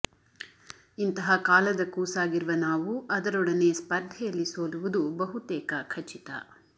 ಇಂತಹ ಕಾಲದ ಕೂಸಾಗಿರುವ ನಾವು ಅದರೊಡನೆ ಸ್ಪರ್ಧೆಯಲ್ಲಿ ಸೋಲುವುದು ಬಹುತೇಕ ಖಚಿತ